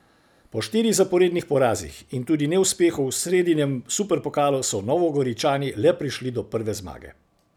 Po štirih zaporednih porazih in tudi neuspehu v sredinem superpokalu so Novogoričani le prišli do prve zmage.